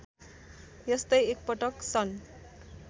यस्तै एकपटक सन्